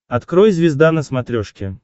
открой звезда на смотрешке